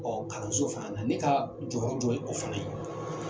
kalanso fana na ne ka jɔyɔrɔ jɔ ye o fana ye.